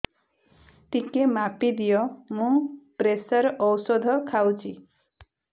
ଟିକେ ମାପିଦିଅ ମୁଁ ପ୍ରେସର ଔଷଧ ଖାଉଚି